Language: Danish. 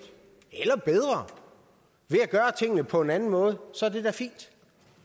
eller bedre ved at gøre tingene på en anden måde så er det da fint